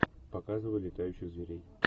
показывай летающих зверей